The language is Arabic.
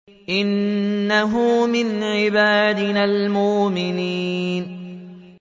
إِنَّهُ مِنْ عِبَادِنَا الْمُؤْمِنِينَ